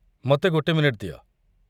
ମୋତେ ଗୋଟେ ମିନିଟ ଦିଅ।